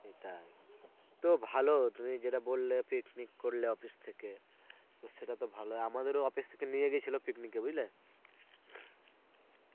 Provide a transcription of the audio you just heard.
সেটাই. তো ভালো তুমি যেটা বললে picnic করলে office থেকে তো সেটা তো ভালোই. আমাদেরও office থেকে নিয়ে গেছিলো picnic এ. বুঝলে?